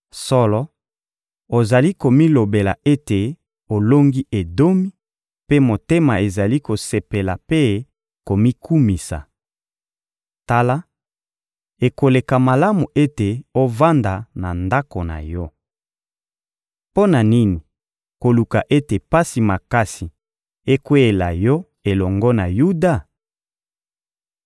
Solo, ozali komilobela ete olongi Edomi, mpe motema ezali kosepela mpe komikumisa. Tala, ekoleka malamu ete ovanda na ndako na yo. Mpo na nini koluka ete pasi makasi ekweyela yo elongo na Yuda?